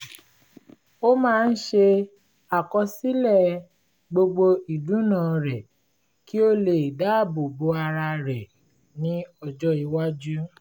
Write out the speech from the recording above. ó máa ń ṣe àkọsílẹ̀ gbogbo ìdùná rẹ̀ kí ó lè dáàbò bo ara rẹ̀ ní ọjọ́ iwájú